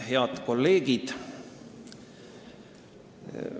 Head kolleegid!